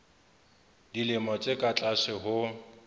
dilemo tse ka tlase ho